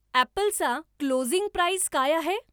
ॲप्पलचा closing price काय आहे